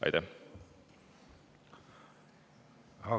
Aitäh!